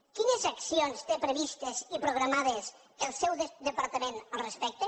quines accions té previstes i programades el seu departament al respecte